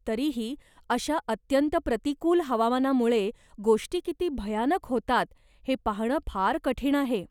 तरीही, अशा अत्यंत प्रतिकूल हवामानामुळे गोष्टी किती भयानक होतात हे पाहणं फार कठीण आहे.